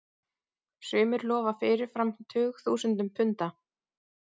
Sumir lofa fyrirfram tugþúsundum punda.